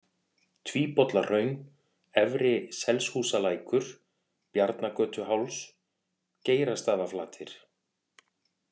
Tvíbollahraun, Efri-Selshúsalækur, Bjarnagötuháls, Geirastaðaflatir